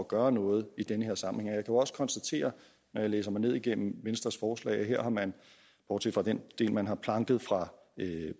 at gøre noget i den her sammenhæng jo også konstatere når jeg læser ned igennem venstres forslag at her har man bortset fra den del man har planket fra